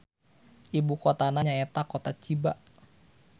Ibukotana nyaeta Kota Chiba.